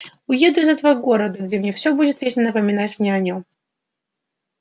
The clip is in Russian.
уеду из этого города где все будет вечно напоминать мне о о нем